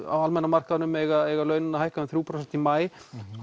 á almenna markaðnum eiga eiga launin að hækka um þrjú prósent í maí